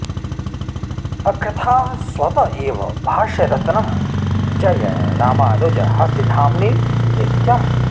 अकृथाः स्वत एव भाष्यरत्नं जय रामानुज हस्तिधाम्नि नित्यम्